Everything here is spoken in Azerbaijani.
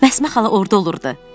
Məsmə xala orda olurdu.